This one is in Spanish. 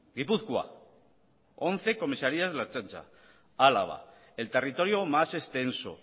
gipuzkoa once comisarías de la ertzaintza álava el territorio más extenso